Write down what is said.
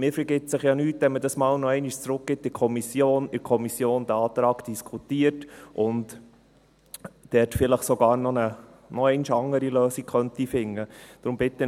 Man vergibt sich ja nichts, wenn man es noch einmal in die Kommission zurückgibt, diesen Antrag in der Kommission noch einmal diskutiert und vielleicht sogar eine weitere Lösung finden könnte.